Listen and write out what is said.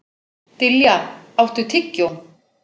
Dilja, áttu tyggjó?